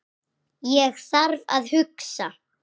Ég þarf að hugsa.